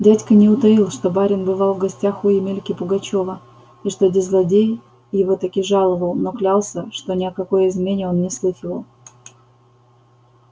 дядька не утаил что барин бывал в гостях у емельки пугачёва и что-де злодей его таки жаловал но клялся что ни о какой измене он не слыхивал